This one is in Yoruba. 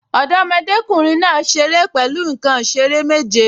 Ọmọdékùnrin náà ṣeré pẹ̀lú nǹkan ìṣeré méje